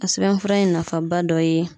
A sɛbɛnfura in nafaba dɔ ye